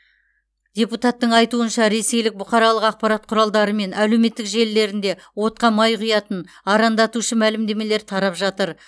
депутаттың айтуынша ресейлік бұқаралық ақпарат құралдары мен әлеуметтік желілерінде отқа май құятын арандатушы мәлімдемелер тарап жатыр